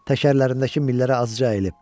Təkərlərindəki millərə azca əyilib.